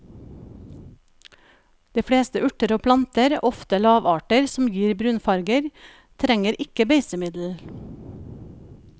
De fleste urter og planter, ofte lavarter, som gir brunfarger, trenger ikke beisemiddel.